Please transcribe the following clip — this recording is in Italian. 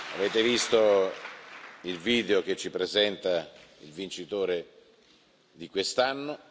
Avete visto il video che ci presenta il vincitore di quest'anno.